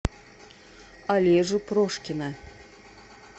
олежу прошкина